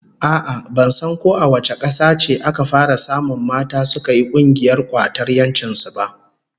A'a ,ban san ko a wace kasa ce aka fara samun mata suka yi kungiyar kwatar 'yancin su ba.